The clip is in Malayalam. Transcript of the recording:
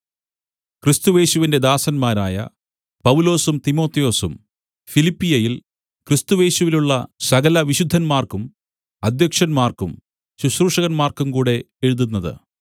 ക്രിസ്തുയേശുവിന്റെ ദാസന്മാരായ പൗലൊസും തിമൊഥെയൊസും ഫിലിപ്പിയിൽ ക്രിസ്തുയേശുവിലുള്ള സകലവിശുദ്ധന്മാർക്കും അദ്ധ്യക്ഷന്മാർക്കും ശുശ്രൂഷകന്മാർക്കും കൂടെ എഴുതുന്നത്